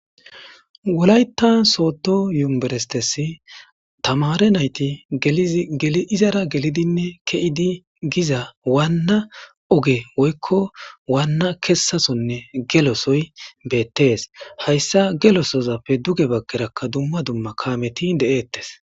wolayta soodo yumberestesi tamare nayti geli izara gelidinne ke'idi giza waanna oge woykko waanna kessasonne gelosoy beettees hayssa gelosozapfe duge bakerakka dumma dumma kaameti de'eettes